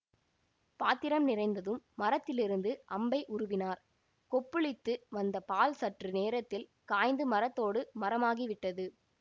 பாத்திரம் நிறைந்ததும் மரத்திலிருந்து அம்பை உருவினார் கொப்புளித்து வந்த பால் சற்று நேரத்தில் காய்ந்து மரத்தோடு மரமாகிவிட்டது